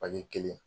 An ye kelen